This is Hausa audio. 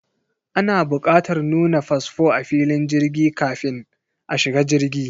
Ana bukatar nuna fasfo a filin jirgi kafin a shiga jirgi.